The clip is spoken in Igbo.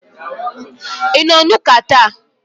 Ị nọ na Ụka ​​taa?